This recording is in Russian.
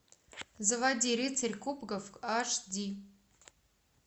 заводи рыцарь кубков аш ди